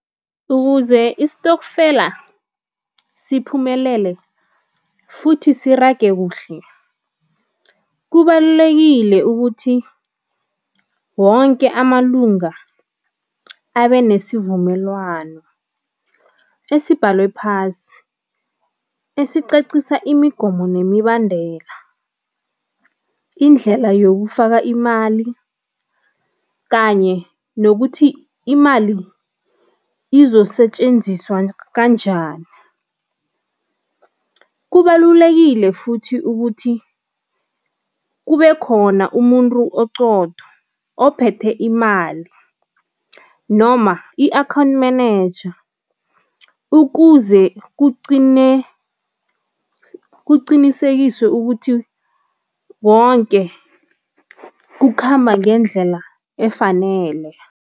Ukuze isitokfela siphumelele futhi sirage, kubalulekile ukuthi wonke amalunga abe nesivumelwano esibhalwe phasi, esicacisa imigomo nemibandela, indlela yokufaka imali kanye nokuthi imali izosetjenziswa kanjani. Kubalulekile futhi ukuthi kube khona umuntu oqotho, ophethe imali noma i-account manager ukuze kuqinisekiswe ukuthi wonke kukhamba ngendlela efanele.